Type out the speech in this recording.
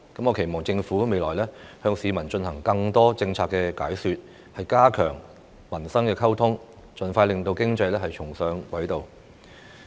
我期望政府未來會向市民進行更多政策解說，加強民生溝通，盡快令經濟重上軌道。